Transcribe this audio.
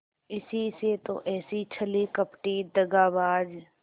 इसी से तो ऐसी छली कपटी दगाबाज